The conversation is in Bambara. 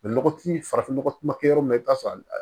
nɔgɔtigi farafin nɔgɔ ma kɛ yɔrɔ min na i bɛ taa sɔrɔ